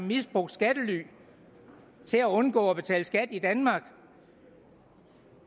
misbrugt skattely til at undgå at betale skat i danmark